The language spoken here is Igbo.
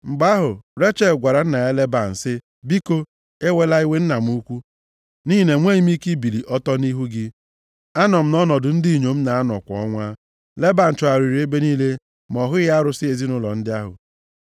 Mgbe ahụ, Rechel gwara nna ya Leban sị, “Biko, ewela iwe nna m ukwu, nʼihi na enweghị m ike ibili ọtọ nʼihu gị. Anọ m nʼọnọdụ ndị inyom na-anọ kwa ọnwa.” Leban chọgharịrị ebe niile, ma ọ hụghị arụsị ezinaụlọ ndị ahụ.